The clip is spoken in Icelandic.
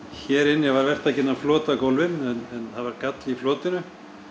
hér inni var verktakinn að flota gólfin en það var galli í flotinu